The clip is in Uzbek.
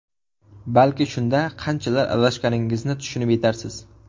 Balki shunda qanchalar adashganingizni tushunib yetarsiz.